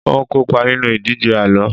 n o kópa nínú ìdíje àlọ